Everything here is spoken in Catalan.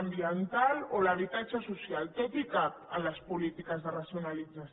ambiental o l’habitatge social tot hi cap en les polítiques de racionalització